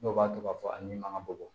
Dɔw b'a to ka fɔ a ɲi man ka bɔ